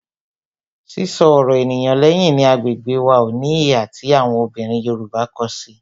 Sísọ ọ̀rọ̀ ènìyàn lẹ́yìn ni agbègbè wá, ó ní ìhà tí àwọn obìnrin Yorùbá ko si i